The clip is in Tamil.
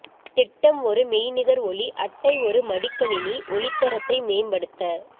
திட்டம் ஒரு மெய்நிகர் ஒலி அட்டை ஒரு மடிக்கணினி ஒலி தரத்தை மேம்படுத்த